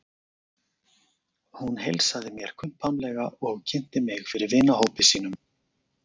Hún heilsaði mér kumpánlega og kynnti mig fyrir vinahópi sínum.